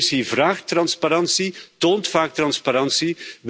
De Commissie vraagt transparantie, toont vaak transparantie.